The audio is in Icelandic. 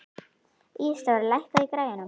Ísadóra, lækkaðu í græjunum.